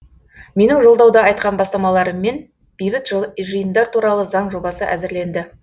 менің жолдауда айтқан бастамаларыммен бейбіт жиындар туралы заң жобасы әзірленді